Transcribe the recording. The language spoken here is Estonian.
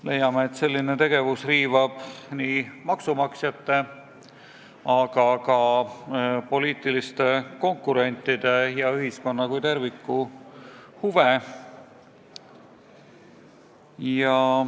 Leiame, et selline tegevus riivab nii maksumaksjate kui ka poliitiliste konkurentide ja kogu ühiskonna kui terviku huve.